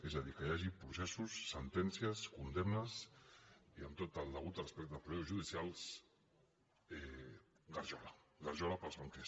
és a dir que hi hagi processos sentències condemnes i amb tot el degut respecte als processos judicials garjola garjola per als banquers